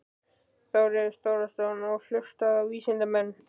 Þórður Þórðarson: Og hlusta á vísindamenn?